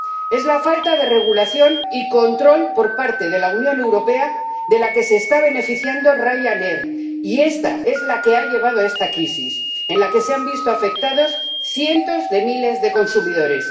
Es la falta de regulación y control por parte de la Unión Europea de lo que se está beneficiando Ryanair y esto es la que ha llevado a esta crisis, en la que se han visto afectados cientos de miles de consumidores.